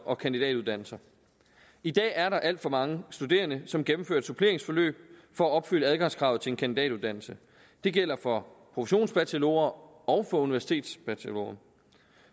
og kandidatuddannelse i dag er der alt for mange studerende som gennemfører et suppleringsforløb for at opfylde adgangskravet til en kandidatuddannelse det gælder for professionsbachelorer og for universitetsbachelorer